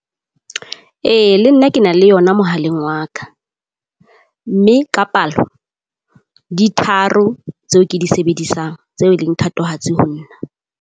Ee le nna ke na le yona mohaleng wa ka. Mme ka palo, di tharo tseo ke di sebedisang tseo e leng thatohatsi ho nna.